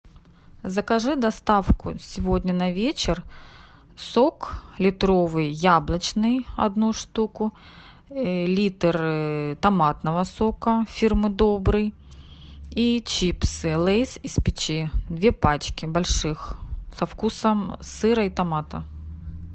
закажи доставку сегодня на вечер сок литровый яблочный одну штуку литр томатного сока фирмы добрый и чипсы лейс из печи две пачки больших со вкусом сыра и томата